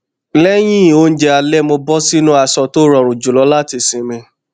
lẹyìn oúnjẹ alẹ mo bọ sínú aṣọ tó rọrùn jùlọ láti sinmi